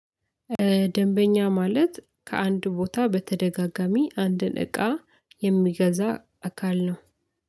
ደንበኛ ማለት ከአንድ ቦታ በተደጋጋሚ አንድን እቃ የሚገዛ አካል ነው